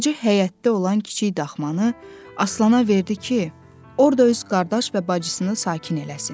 Hacı həyətdə olan kiçik daxmanı Aslana verdi ki, orda öz qardaş və bacısını sakin eləsin.